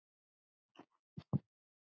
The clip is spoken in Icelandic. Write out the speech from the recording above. Þú svæfa Lóló